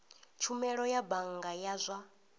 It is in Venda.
tshumelo ya bannga ya zwa